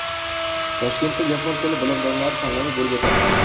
Toshkentda yapon tili bilimdonlari tanlovi bo‘lib o‘tadi.